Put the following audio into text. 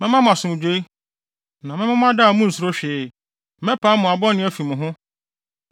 “ ‘Mɛma mo asomdwoe, na mɛma mo ada a munnsuro hwee. Mɛpam mmoa bɔne afi mo ho.